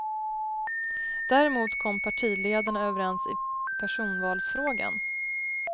Däremot kom partiledarna överens i personvalsfrågan.